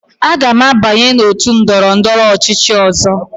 Aga m abanye n'otu ndọrọndọrọ ọchịchị ọzọ.